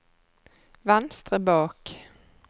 venstre bak